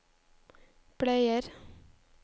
bleier